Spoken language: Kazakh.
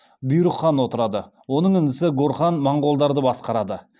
оның інісі горхан монғолдарды басқарады